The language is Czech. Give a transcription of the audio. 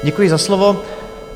Děkuji za slovo.